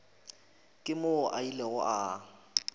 ke moo a ilego a